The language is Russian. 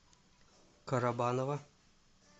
карабаново